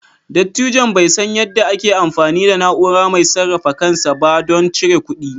Dattijon bai san yadda ake amfani da na'ura mai sarrafa kansa ba don cire kuɗi.